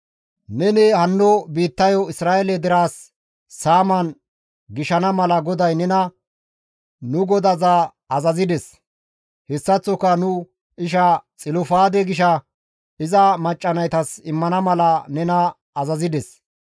«Neni hanno biittayo Isra7eele derezas saaman gishana mala GODAY nena nu godaza azazides; hessaththoka nu isha Xilofaade gisha iza macca naytas immana mala nena azazides.